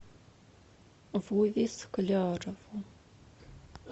вове склярову